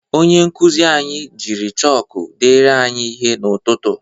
Onye nkuzi anyị jiri chọkụ deere anyị ihe n'ụtụtụ.